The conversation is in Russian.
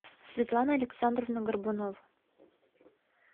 светлана александровна горбунова